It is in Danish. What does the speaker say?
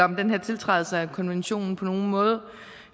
den her tiltrædelse af konventionen på nogen måde